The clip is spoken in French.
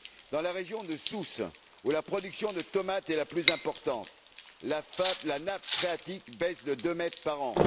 Dans la région de Sousse, où la production de tomates est la plus importante, la nappe phréatique baisse de 2 mètres par an.